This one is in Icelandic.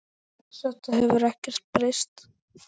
Þetta hefur ekkert breyst.